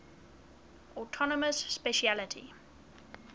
autonomous specialty